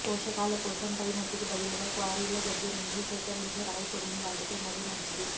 పోషకాల కోసం పైమట్టికి బదులుగా క్వారీల దగ్గర నుంచి సేకరించే రాయిపొడిని వాడితే మరీ మంచిది